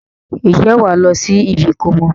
Ǹjẹ́ wàá lọ sí ibi ìkómọ?